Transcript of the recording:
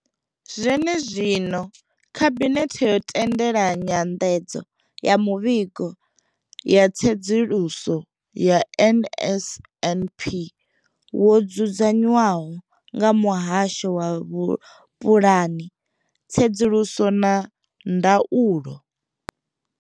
Zwenezwino, khabinethe yo tendela nyanḓadzo ya muvhigo wa tsedzuluso ya NSNP wo dzudzanywaho nga muhasho wa vhupulani, tsedzuluso na ndaulo.